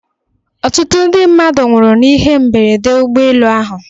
Ọtụtụ ndị mmadụ nwụrụ n'ihe mberede ụgbọelu ahụ.